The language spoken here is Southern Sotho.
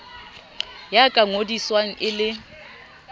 ya ka ngodiswang e le